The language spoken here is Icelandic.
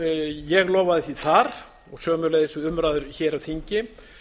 ég lofaði því þar og sömuleiðis við umræður hér á þingi